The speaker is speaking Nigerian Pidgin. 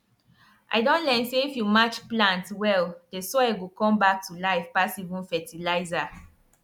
i don learn say if you match plants well the soil go come back to life pass even fertilizer